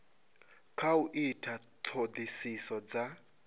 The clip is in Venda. kha u ita ṱhoḓisiso dza